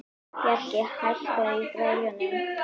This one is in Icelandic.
Bjarki, hækkaðu í græjunum.